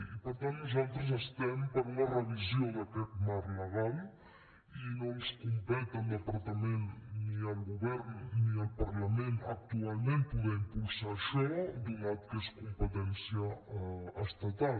i per tant nosaltres estem per una revisió d’aquest marc legal i no ens competeix al departament ni al govern ni al parlament actualment poder impulsar això donat que és competència estatal